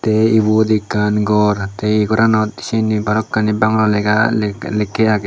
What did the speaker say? te ibot ekkan gor te eh goranot syen he bhalokkani bangalo lega lekke agey.